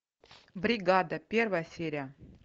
бригада первая серия